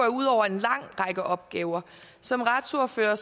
ud over en lang række opgaver som retsordførere